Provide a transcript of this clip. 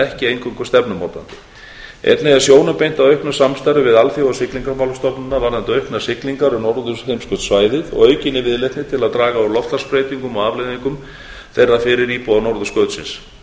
ekki eingöngu stefnumótandi einnig er sjónum beint að auknu samstarfi við alþjóðasiglingamálastofnunina varðandi auknar siglingar um norðurheimskautssvæðið og aukinni viðleitni til að draga úr loftslagsbreytingum og afleiðingum þeirra fyrir íbúa norðurskautsins af